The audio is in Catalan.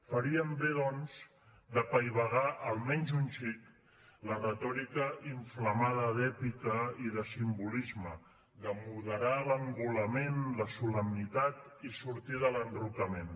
faríem bé doncs d’apaivagar almenys un xic la retòrica inflamada d’èpica i de simbolisme de moderar l’engolament la solemnitat i sortir de l’enrocament